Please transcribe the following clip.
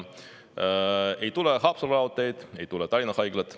Ei tule Haapsalu raudteed, ei tule Tallinna Haiglat.